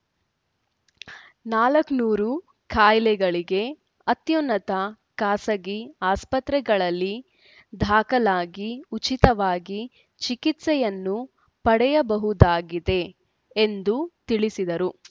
ನಾಲ್ಕನೂರು ಕಾಯಿಲೆಗಳಿಗೆ ಅತ್ಯುನ್ನತ ಖಾಸಗಿ ಆಸ್ಪತ್ರೆಗಳಲ್ಲಿ ದಾಖಲಾಗಿ ಉಚಿತವಾಗಿ ಚಿಕಿತ್ಸೆಯನ್ನು ಪಡೆಯಬಹುದಾಗಿದೆ ಎಂದು ತಿಳಿಸಿದರು